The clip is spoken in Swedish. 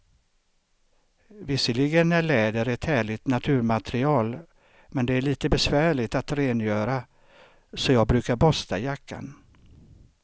Visserligen är läder ett härligt naturmaterial, men det är lite besvärligt att rengöra, så jag brukar borsta jackan.